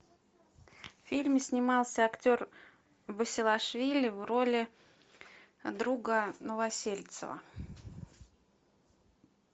в фильме снимался актер басилашвили в роли друга новосельцева